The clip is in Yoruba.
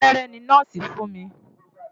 Abẹ́rẹ́ ni nọ́ọ̀sì fún mi.